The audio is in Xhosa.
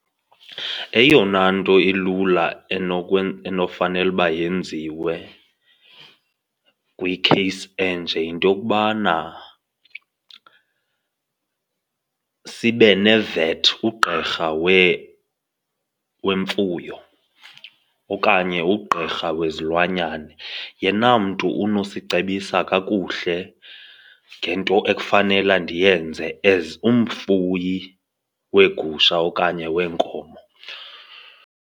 Eyona nto ilula enofanele uba yenziwe kwi-case enje yinto yokubana sibe ne-vet, ugqirha wemfuyo okanye ugqirha wezilwanyana, yena mntu unosicebisa kakuhle ngento ekufanela ndiyenze as umfuyi weegusha okanye weenkomo.